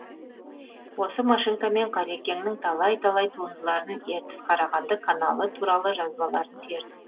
осы машинкамен қалекеңнің талай талай туындыларын ертіс қарағанды каналы туралы жазбаларын тердім